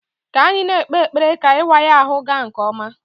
Ka anyị na-ekpe ekpere ka ịwa ya ahụ gaa nke ọma